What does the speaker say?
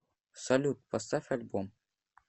салют поставь альбом крейзи